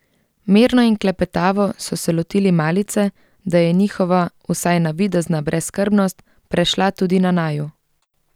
Mirno in klepetavo so se lotili malice, da je njihova, vsaj navidezna brezskrbnost, prešla tudi na naju.